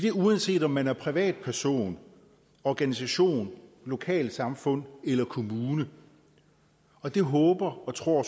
er uanset om man er privatperson organisation lokalsamfund eller kommune og det håber og tror